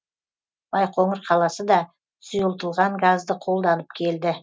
байқоңыр қаласы да сұйылтылған газды қолданып келді